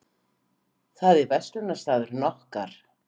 Það er verslunarstaðurinn okkar.